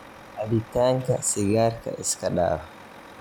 Cabitanka Sigarka iskadaaf.